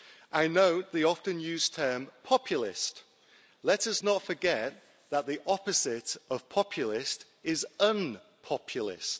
I know the often used term populist. Let us not forget that the opposite of populist is un populist.